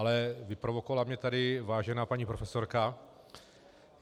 Ale vyprovokovala mě tady vážená paní profesorka.